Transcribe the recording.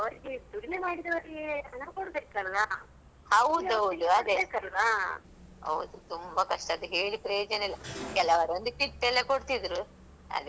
ಹೌದೌದು ಅದೇ ಹೌದು ತುಂಬಾ ಕಷ್ಟ ಅದ್ ಹೇಳಿ ಪ್ರಯೋಜನ ಇಲ್ಲ ಕೆಲವರ್ ಒಂದ್ kit ಎಲ್ಲ ಕೊಡ್ತಿದ್ರು ಅದೆಲ್ಲ ನಿಮ್ಮ ಇದು tailoring ಅಲ್ಲಿ ಕೊಟ್ಟಿದ್ದ್ರಾ?